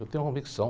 Eu tenho convicção.